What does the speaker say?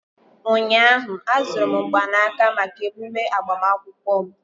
ụnyahụ, azụrụ m mgbanaka maka emume agbamakwụkwọ m